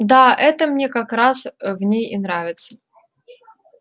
да это мне как раз ээ в ней и нравится